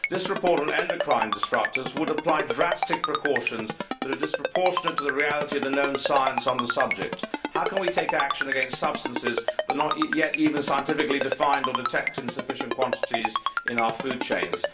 This report on endocrine disrupters would apply drastic precautions that are disproportionate to the reality of the known science on the subject. How can we take action against substances that are not yet even scientifically defined, or detected in sufficient quantities in our food chains?